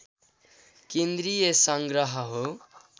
केन्द्रीय सङ्ग्रह हो